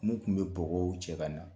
Mun kun bɛ bɔgɔw cɛ ka na